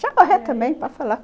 Já correu também, pode falar.